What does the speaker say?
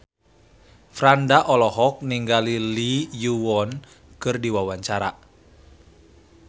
Franda olohok ningali Lee Yo Won keur diwawancara